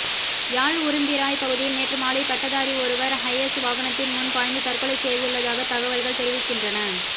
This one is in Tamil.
யாழ் உரும்பிராய் பகுதியில் நேற்று மாலை பட்டதாரி ஒருவர் ஹயஸ் வாகனத்தின் முன் பாய்ந்து தற்கொலை செய்துள்ளதாகத் தகவல்கள் தெரிவிக்கின்றன